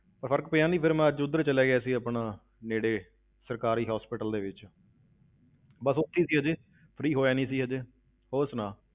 ਤਾਂ ਫ਼ਰਕ ਪਿਆ ਨੀ, ਫਿਰ ਮੈਂ ਅੱਜ ਉੱਧਰ ਚਲਾ ਗਿਆ ਸੀ ਆਪਣਾ ਨੇੜੇ ਸਰਕਾਰੀ hospital ਦੇ ਵਿੱਚ ਬਸ ਉੱਥੇ ਹੀ ਸੀ ਹਜੇ free ਹੋਇਆ ਨੀ ਸੀ ਹਜੇ, ਹੋਰ ਸੁਣਾ,